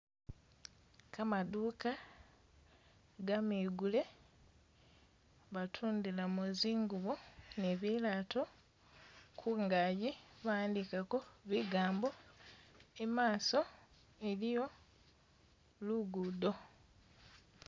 Kamaduka kamegule batundilamo zingubo ne bilato kungaki bawandikhakho bigambo, imaso iliyo lugudo.